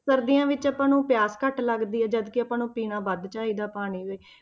ਸਰਦੀਆਂ ਵਿੱਚ ਆਪਾਂ ਨੂੰ ਪਿਆਸ ਘੱਟ ਲੱਗਦੀ ਹੈ, ਜਦਕਿ ਆਪਾਂ ਨੂੰ ਪੀਣਾ ਵੱਧ ਚਾਹੀਦਾ ਪਾਣੀ।